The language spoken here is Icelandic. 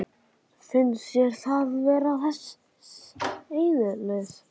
Finnst þér það vera þess eðlis?